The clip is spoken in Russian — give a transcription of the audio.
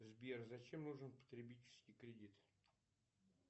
сбер зачем нужен потребительский кредит